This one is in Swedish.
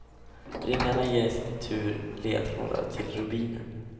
Ringarna ger i sin tur ledtrådar till rubinen.